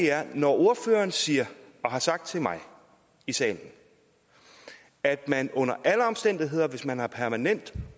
er når ordføreren siger og har sagt til mig i salen at man under alle omstændigheder hvis man har permanent